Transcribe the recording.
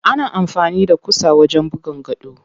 Ana amfani da ƙusa wajen buga gado.